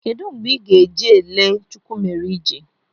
Kedụ mgbe ị ga-eje lee Chukwumerije?